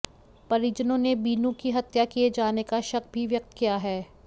परिजनों ने बीनू की हत्या किए जाने का शक भी व्यक्त किया है